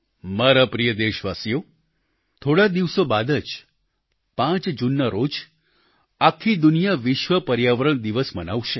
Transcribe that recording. મારા પ્રિય દેશવાસીઓ થોડા દિવસો બાદ જ 5 જૂન ના રોજ આખી દુનિયા વિશ્વ પર્યાવરણ દિવસ મનાવશે